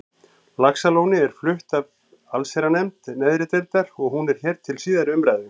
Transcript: Laxalóni er flutt af allsherjarnefnd neðri deildar og hún er hér til síðari umræðu.